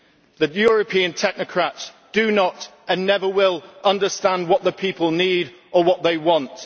The European technocrats do not, and never will, understand what the people need or what they want.